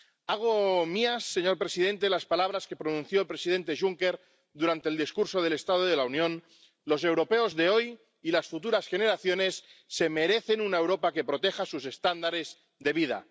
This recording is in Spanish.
Hago mías, señor presidente, las palabras que pronunció el presidente Juncker durante el discurso del estado de la Unión Los europeos de hoy y las futuras generaciones se merecen una Europa que proteja sus estándares de vida.